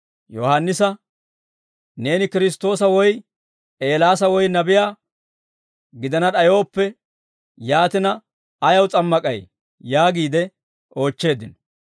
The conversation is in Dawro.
Yohaannisa, «Neeni Kiristtoosa woy, Eelaasa woy nabiyaa gidana d'ayooppe, yaatina ayaw s'ammak'ay?» yaagiide oochcheeddino.